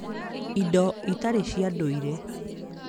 indo itarĩ cia ndũire